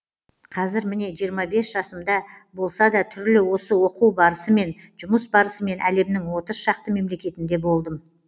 қазір міне жиырма бес жасымда болса да түрлі осы оқу барысымен жұмыс барысымен әлемнің отыз шақты мемлекетінде болдым